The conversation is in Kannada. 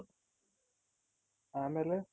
ಆಮೇಲೆ